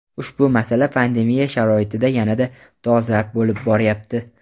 Ushbu masala pandemiya sharoitida yanada dolzarb bo‘lib borayapti.